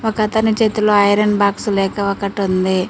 ఒకతని చేతులో iron box లేక ఒకటుంది.